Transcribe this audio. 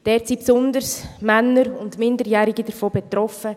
Davon sind besonders Männer und Minderjährige betroffen;